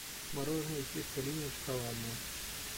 мороженое чистая линия шоколадное